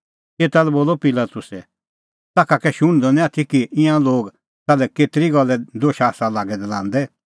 एता लै बोलअ पिलातुसै ताखा कै शुण्हदअ निं आथी कि ईंयां लोग ताल्है केतरी गल्ले दोशा आसा लांदै लागै दै